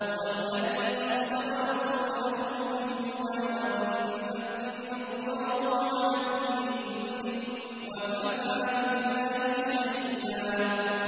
هُوَ الَّذِي أَرْسَلَ رَسُولَهُ بِالْهُدَىٰ وَدِينِ الْحَقِّ لِيُظْهِرَهُ عَلَى الدِّينِ كُلِّهِ ۚ وَكَفَىٰ بِاللَّهِ شَهِيدًا